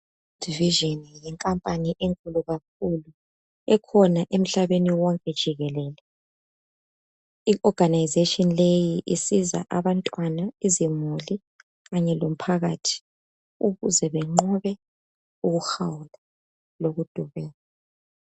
I world vision yinkampani enkulu kakhulu ekhona emhlabeni wonke jikelele. I organisation leyi isiza abantwana izimuli kanye lomphakathi ukuze benqobe ukuhawula lokudubeka.